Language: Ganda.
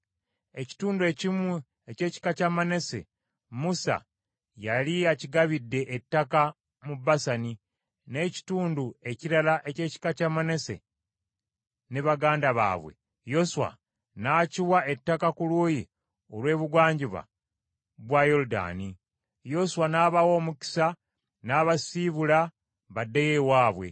Ekitundu ekimu eky’ekika kya Manase, Musa yali akigabidde ettaka mu Basani, n’ekitundu ekirala eky’ekika kya Manase ne baganda baabwe, Yoswa n’akiwa ettaka ku luuyi olw’ebugwanjuba bwa Yoludaani. Yoswa n’abawa omukisa n’abasiibula baddeyo ewaabwe.